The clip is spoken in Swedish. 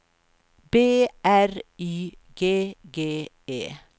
B R Y G G E